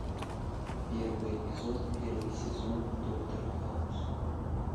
первый эпизод первый сезон доктор хаус